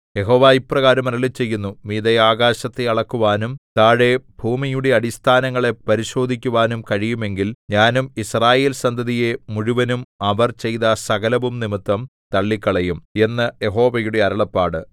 യഹോവ ഇപ്രകാരം അരുളിച്ചെയ്യുന്നു മീതെ ആകാശത്തെ അളക്കുവാനും താഴെ ഭൂമിയുടെ അടിസ്ഥാനങ്ങളെ പരിശോധിക്കുവാനും കഴിയുമെങ്കിൽ ഞാനും യിസ്രായേൽസന്തതിയെ മുഴുവനും അവർ ചെയ്ത സകലവും നിമിത്തം തള്ളിക്കളയും എന്ന് യഹോവയുടെ അരുളപ്പാട്